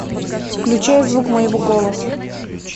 включай звук моего голоса